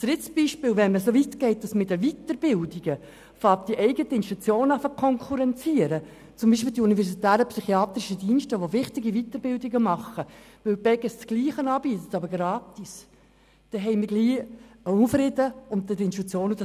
Ein drittes Beispiel: Wenn man so weit geht, dass man bei den Weiterbildungen die eigenen Institutionen zu konkurrenzieren beginnt, wie es bei den Universitären Psychiatrischen Diensten (UPD) der Fall ist, die wichtige Weiterbildungen anbieten, und die Beges dasselbe gleichzeitig gratis tut, wird Unfrieden unter den Institutionen erzeugt.